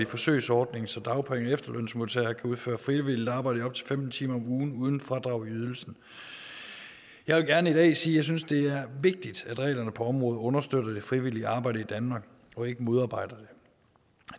forsøgsordningen så dagpenge og efterlønsmodtagere kan udføre frivilligt arbejde i op til femten timer om ugen uden fradrag i ydelsen jeg vil gerne i dag sige at jeg synes det er vigtigt at reglerne på området understøtter det frivillige arbejde i danmark og ikke modarbejder det